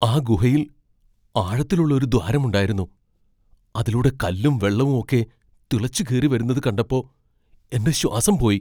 ആ ഗുഹയിൽ ആഴത്തിലുള്ള ഒരു ദ്വാരമുണ്ടായിരുന്നു, അതിലൂടെ കല്ലും വെള്ളവും ഒക്കെ തിളച്ചുകേറിവരുന്നത് കണ്ടപ്പോ എൻ്റെ ശ്വാസം പോയി.